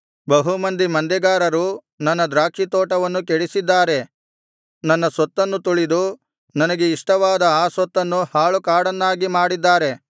ಬಹು ಮಂದಿ ಮಂದೆಗಾರರು ನನ್ನ ದ್ರಾಕ್ಷಿತೋಟವನ್ನು ಕೆಡಿಸಿದ್ದಾರೆ ನನ್ನ ಸ್ವತ್ತನ್ನು ತುಳಿದು ನನಗೆ ಇಷ್ಟವಾದ ಆ ಸೊತ್ತನ್ನು ಹಾಳು ಕಾಡನ್ನಾಗಿ ಮಾಡಿದ್ದಾರೆ